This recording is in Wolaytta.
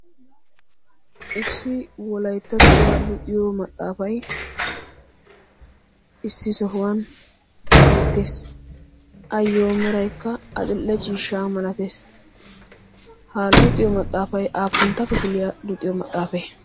issi wolayttattuwaa luuxiyo maxaafay issi sohuwan beettees ayyo meraykka axille ciishshaa malatees ha luuxiyo maxaafay aappunttappi piliyaa luuxiyo maxaafe